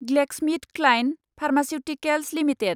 GlaxoSmithKline pharmaceuticals limited